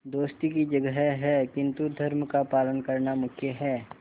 दोस्ती की जगह है किंतु धर्म का पालन करना मुख्य है